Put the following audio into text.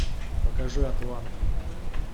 покажи атланта